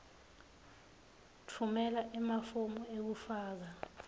tfumela emafomu ekufaka